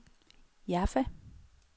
Jaffa